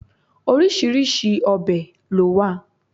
Oríṣiríṣi obè lo wa